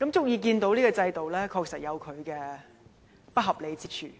"由這個個案可知，現行制度確實有不合理之處。